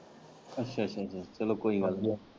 ਅੱਛਾ ਅੱਛਾ ਚੱਲੋ ਕੋਈ ਗੱਲ਼ ਨੀ।